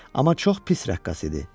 Amma çox pis rəqqas idi.